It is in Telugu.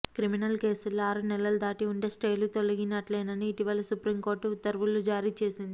క్రిమినల్ కేసుల్లో ఆరు నెలలు దాటి ఉంటే స్టేలు తొలగినట్లేనని ఇటీవల సుప్రీంకోర్టు ఉత్తర్వులు జారీ చేసింది